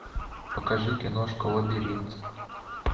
покажи киношку лабиринт